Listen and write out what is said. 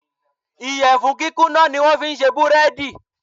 Ìyẹ̀fun kíkúnná ni wón fi ń ṣe búrẹ́dì.